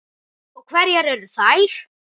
Og hverjar eru þær?